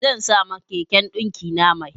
Zan sa ma keken ɗinkina mai.